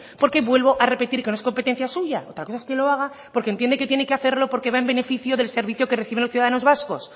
porque vuelvo a repetir que no es competencia suya otra cosa es que lo haga porque entiende que tiene que hacerlo porque va en beneficio del servicio que reciben los ciudadanos vascos